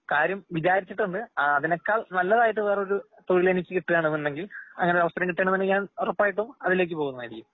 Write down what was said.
കാര്യം വിചിരിച്ചിട്ടുണ്ട്. അതിനേക്കാൾ നല്ലതായിട്ട് വേറൊരു തൊഴിലെനിക്കിട്ടുവാണെന്നുണ്ടെങ്കിൽ അങ്ങനെ അവസരംകിട്ടുവാണെന്നുണ്ടെങ്കിൽ ഞാൻ ഉറപ്പായിട്ടും അതിലേക്ക്പോകുന്നതായിരിക്കും.